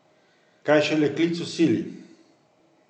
Kaj šele klic v sili.